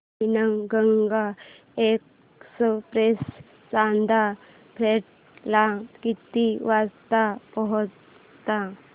Wainganga express Chanda fort ला किती वाजता पोहचते